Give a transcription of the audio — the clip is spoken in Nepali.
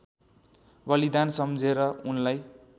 बलिदान सम्झेर उनलाई